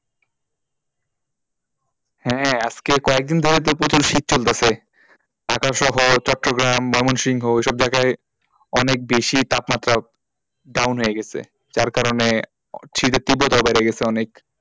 হ্যাঁ, আজকে কয়েকদিন ধরেই তো প্রচুর শীত চলতেছে চট্টগ্রাম, বামুনসিংহ ওসব জায়গায় অনেক বেশি তাপমাত্রা down হয়েগেছে যার কারণে অ শীতের তীব্রতা বেড়ে গেছে অনেক।